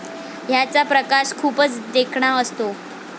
ह्याचा प्रकाश खूपच देखणा असतो.